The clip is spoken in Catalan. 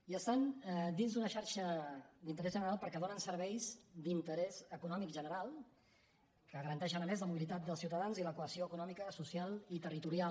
i estan dins d’una xarxa d’interès general perquè donen serveis d’interès econòmic general que garanteixen a més la mobilitat dels ciutadans i la cohesió econòmica social i territorial